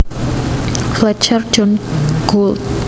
Fletcher John Gould